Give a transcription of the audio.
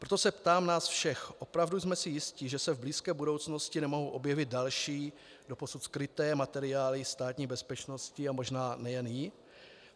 Proto se ptám nás všech: Opravdu jsme si jisti, že se v blízké budoucnosti nemohou objevit další, doposud skryté materiály Státní bezpečnosti a možná nejen jí?